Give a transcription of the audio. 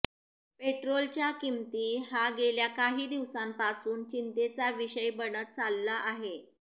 पेट्रोलच्या किंमती हा गेल्या काही दिवसापासून चिंतेचा विषय बनत चाललं आहे